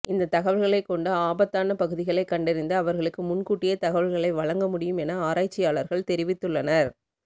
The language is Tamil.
இந்த தகவல்களை கொண்டு ஆபத்தான பகுதிகளை கண்டறிந்து அவர்களுக்கு முன்கூட்டியே தகவல்களை வழங்க முடியும் என ஆராய்ச்சியாளர்கள் தெரிவித்துள்ளனர்